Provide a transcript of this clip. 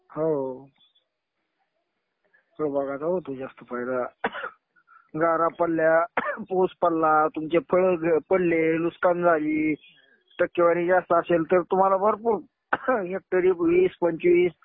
हो. फळबागाचा होतो जास्त फायदा. ing गारा पडल्या, ing पाऊस पडला, तुमचे फळं पडली, नुकसान झाली. टक्केवारी जास्त असेल तर तुम्हाला भरपूर हेक्टरी वीस-पंचवीस,